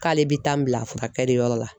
K'ale bɛ taa n bila furakɛliyɔrɔ la